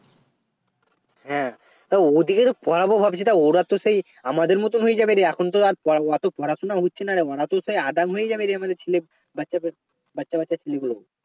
হ্যাঁ তা ওদেরকে পড়াবো ভাবছি ওরা তো সেই আমাদের মতন হয়ে যাবে রে এখন তো আর অত পড়াশুনা হচ্ছে না রে ওরা তো সেই আদাম হয়ে যাবে রে আমাদের ছেলে বাচ্চা~ বাচ্চা বাচ্চা ছেলেগুলো